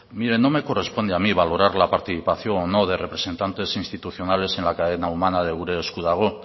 mire no me corresponde a mí valorar la participación o no de representantes institucionales en la cadena humana de gure esku dago